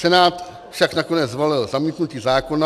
Senát však nakonec zvolil zamítnutí zákona.